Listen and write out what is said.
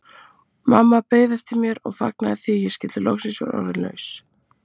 Mamma beið eftir mér og fagnaði því að ég skyldi loks vera orðin laus.